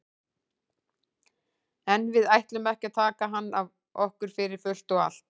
En við ætlum ekki að taka hann að okkur fyrir fullt og allt.